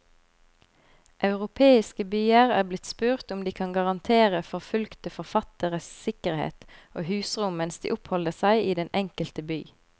Europeiske byer er blitt spurt om de kan garantere forfulgte forfattere sikkerhet og husrom mens de oppholder seg i den enkelte by.